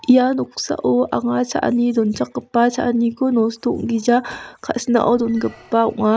ia noksao anga cha·ani donchakgipa cha·aniko nosto ong·gija ka·sinao dongipa ong·a.